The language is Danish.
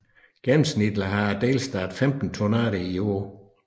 Gennemsnitligt har delstaten 15 tornadoer om året